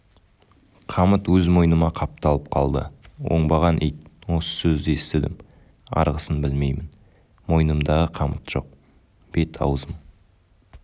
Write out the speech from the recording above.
қамыт өз мойныма қапталып қалды оңбаған ит осы сөзді естідім арғысын білмеймін мойнымдағы қамыт жоқ бет-аузым